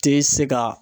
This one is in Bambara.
Tɛ se ka